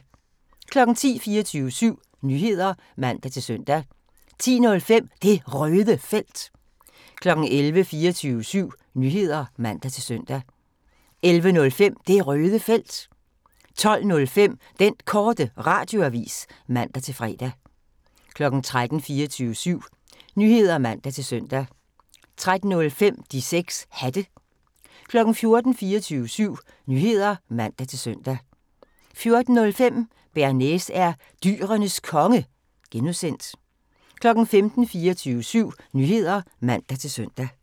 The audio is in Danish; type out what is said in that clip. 10:00: 24syv Nyheder (man-søn) 10:05: Det Røde Felt 11:00: 24syv Nyheder (man-søn) 11:05: Det Røde Felt 12:05: Den Korte Radioavis (man-fre) 13:00: 24syv Nyheder (man-søn) 13:05: De 6 Hatte 14:00: 24syv Nyheder (man-søn) 14:05: Bearnaise er Dyrenes Konge (G) 15:00: 24syv Nyheder (man-søn)